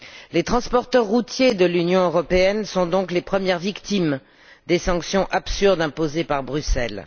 Les transporteurs routiers de l'Union européenne sont donc les premières victimes des sanctions absurdes imposées par Bruxelles.